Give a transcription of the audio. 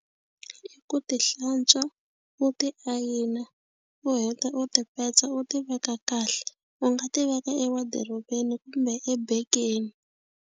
I ku ti hlantswa u ti ayina u heta u ti petsa u tiveka kahle u nga ti veka ewadirobeni kumbe ebegeni.